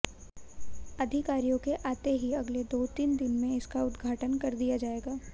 अधिकारियों के आते ही अगले दो तीन दिन में इसका उद्घाटन कर दिया जाएगा